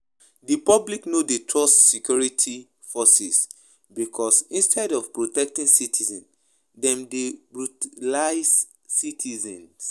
Di public no dey trust security forces because instead of protecting citizens dem dey brutalize citizens